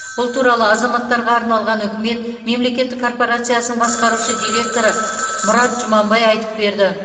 бұл туралы азаматтарға арналған үкімет мемлекеттік корпорациясының басқарушы директоры мұрат жұманбай айтып берді